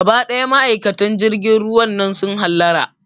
Gaba ɗaya ma'aikatan jirgin ruwan nan su hallara